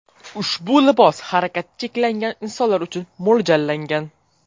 Ushbu libos harakati cheklangan insonlar uchun mo‘ljallangan.